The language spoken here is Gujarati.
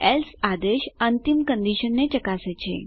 એલ્સે આદેશ અંતિમ કંડીશનને ચકાસે છે